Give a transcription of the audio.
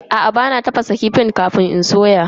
Aa, bana tafasa kifi kafin in soya.